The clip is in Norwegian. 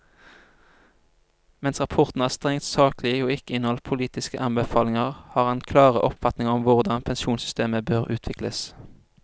Mens rapporten er strengt saklig og ikke inneholder politiske anbefalinger, har han klare oppfatninger om hvordan pensjonssystemer bør utvikles.